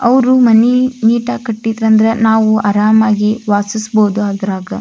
ಅವು ಮನಿ ನೀಟಾಗಿ ಕಟ್ಟಿದ್ರ ಅಂದ್ರೆ ನಾವು ಆರಾಮವಾಗಿ ವಾಸಿಸಬಹುದು ಅದ್ರಾಗ.